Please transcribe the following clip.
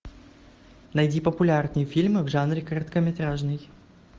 найди популярные фильмы в жанре короткометражный